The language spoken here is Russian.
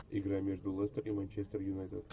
игра между лестер и манчестер юнайтед